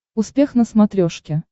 успех на смотрешке